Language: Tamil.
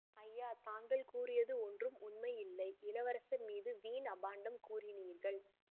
ஐயா தாங்கள் கூறியது ஒன்றும் உண்மையில்லை இளவரசர் மீது வீண் அபாண்டம் கூறினீர்கள்